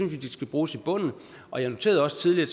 vi de skal bruges i bunden og jeg sagde også tidligere